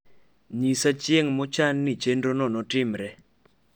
nyisa chieng mochan ni chenrono notimre